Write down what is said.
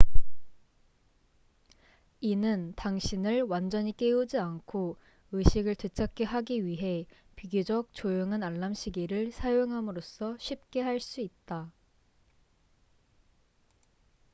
이는 당신을 완전히 깨우지 않고 의식을 되찾게 하기 위해 비교적 조용한 알람시계를 사용함으로써 쉽게 할 수 있다